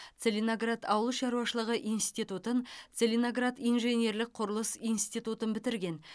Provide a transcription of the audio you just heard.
целиноград ауыл шаруашылығы институтын целиноград инженерлік құрылыс институтын бітірген